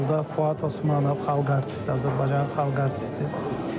Baş rolda Fuad Osmanov, xalq artisti, Azərbaycan xalq artisti.